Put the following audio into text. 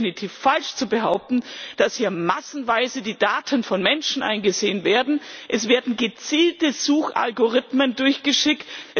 Es ist definitiv falsch zu behaupten, dass hier massenweise die Daten von Menschen eingesehen werden. Es werden gezielte Suchalgorithmen durchgeschickt.